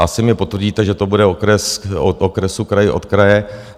Asi mi potvrdíte, že to bude okres od okresu, kraj od kraje.